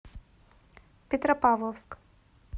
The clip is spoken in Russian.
петропавловск